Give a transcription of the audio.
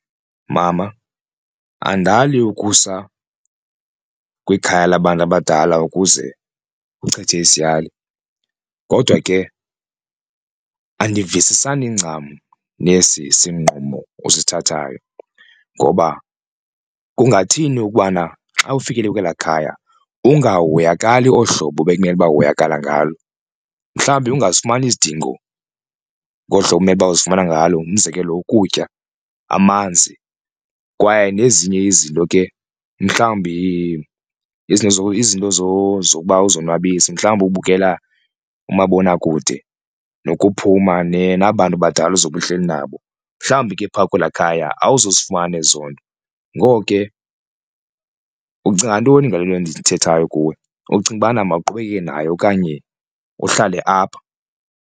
Mama andali ukusa kwikhaya labantu abadala ukuze uchithe isiyali kodwa ke andivisisani ncam nesi sinqumo usithathayo ngoba kungathini ukubana xa ufikelela kwelaa khaya ungahoyakali olu hlobo bekumele uba uhoyakala ngalo mhlawumbi ungazifumani izidingo ngolu hlobo umele uba uzifumana ngalo. Umzekelo ukutya amanzi kwaye nezinye izinto ke mhlawumbi izinto izinto zokuba uzonwabise mhlawumbi ubukela umabonakude nokuphuma naba bantu badala uzobe uhleli nabo, mhlawumbi ke phaa kwelaa khaya awuzuzifumana ezo nto. Ngoko ke ucinga ntoni ngale nto ndiyithethayo kuwe ucinga ubana mawuqhubeke nayo okanye uhlale apha?